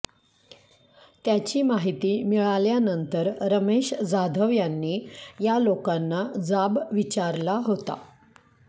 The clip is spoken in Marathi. त्याची माहिती मिळाल्यानंतर रमेश जाधव यांनी या लोकांना जाब विचारला होता